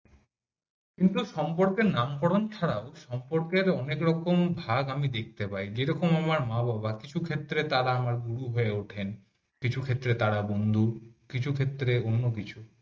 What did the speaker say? কিন্তু সম্পর্কের নামকরণ ছাড়াও সম্পর্কের অনেক রকম ভাগ আমি দেখতে পাই যেমন আমার মা-বাবা কিছু ক্ষেত্রে তারা আমার গুরু হয়ে উঠেন কিছু ক্ষেত্রে তারা বন্ধু কিছু ক্ষেত্রে অন্য